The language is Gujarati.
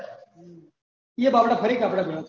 એયીએય બબડા ફરી આપને જવા થયું